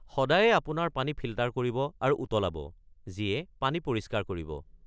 সদায়ে আপোনাৰ পানী ফিল্টাৰ কৰিব আৰু উতলাব, যিয়ে পানী পৰিষ্কাৰ কৰিব।